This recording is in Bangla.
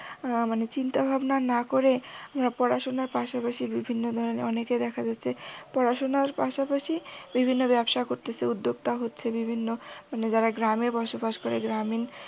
উহ মানে চিন্তা ভাবনা না করে পড়াশুনার পাশাপাশি জদি নানা ধরনের অনেকে দেখা যাচ্ছে পড়াশুনার পাশাপাশি বিভিন্ন ব্যবসা করতেছে উদ্যোক্তা হচ্ছে বিভিন্ন মানে যারা গ্রামে বসবাস করে গ্রামীণ